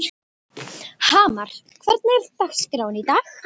Hamar, hvernig er dagskráin í dag?